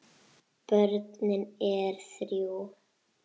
Börnin er þrjú.